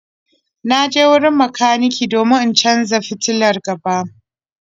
Na je wurin makaniki domin in canza fitilar gaba.